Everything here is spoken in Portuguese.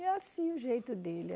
E é assim o jeito dele.